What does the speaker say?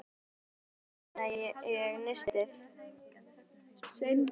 Þegar ég kom fram í eldhús opnaði ég nistið.